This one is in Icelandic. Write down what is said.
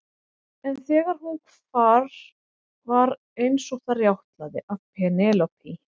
En þegar hún hvar var eins og það rjátlaði af Penélope.